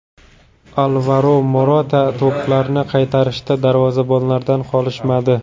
Alvaro Morata to‘plarni qaytarishda darvozabonlardan qolishmadi.